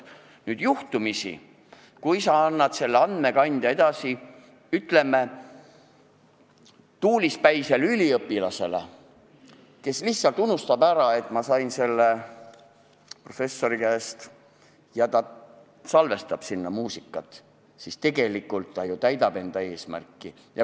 Kui sa nüüd juhtumisi annad selle andmekandja edasi, ütleme, tuulispäisele üliõpilasele, kes lihtsalt unustab ära, et ta sai selle professori käest, ja salvestab sinna muusikat, siis tegelikult see täidab ju eesmärki.